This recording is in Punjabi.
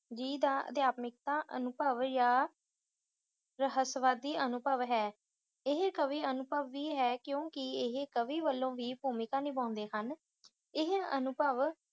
ਜੀ ਦਾ ਅਧਿਆਤਮਿਕਤਾ ਅਨੁਭਵ ਜਾਂ ਰਹੱਸਵਾਦੀ ਅਨੁਭਵ ਹੈ। ਇਹ ਕਾਵਿ ਅਨੁਭਵ ਵੀ ਹੈ ਕਿਉਂਕਿ ਇਹ ਕਵੀ ਵਲੋਂ ਵੀ ਭੂਮਿਕਾ ਨਿਭਾਉਦੇ ਹਨ। ਇਹ ਅਨੁਭਵ